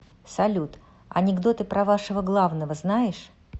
салют анекдоты про вашего главного знаешь